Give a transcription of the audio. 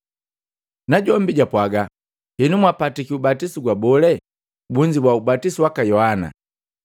Najombi japwaga, “Henu mwapatiki ubatisu gwa bole?” Bunzibua, “Ubatizo waka Yohana.”